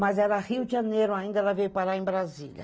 Mas era Rio de Janeiro ainda, ela veio parar em Brasília.